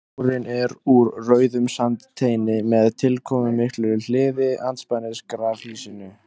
Múrinn er úr rauðum sandsteini með tilkomumiklu hliði andspænis grafhýsinu.